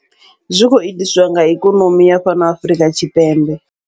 Zwi khou itisiwa nga ikonomi ya fhano Afrika Tshipembe.